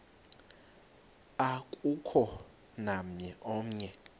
akukho namnye oya